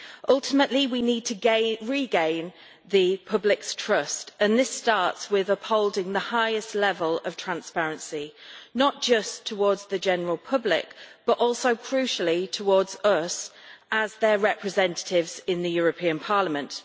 Ultimately, we need to regain the public's trust, and this starts with upholding the highest level of transparency, not just towards the general public, but also, crucially, towards us as their representatives in the European Parliament.